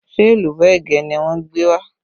Ṣé èlùbọ́ ẹ̀gẹ́ ni wọ́n gbé wá?